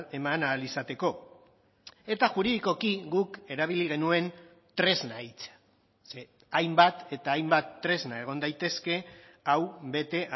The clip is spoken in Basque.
eman ahal izateko eta juridikoki guk erabili genuen tresna hitza ze hainbat eta hainbat tresna egon daitezke hau bete